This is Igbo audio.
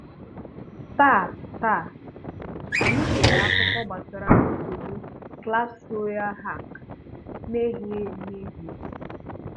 Tàà, Tàà, anyị dèrè àkùkò gbasàrà Nsògbu Clash Royale Hack-mehíè emehíè